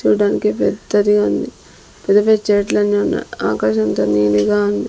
చూడ్డానికి పెద్దదిగా ఉంది పెద్ద పెద్ద చెట్లన్నీ ఉన్నా ఆకాశమంత నీలిగా ఉంది.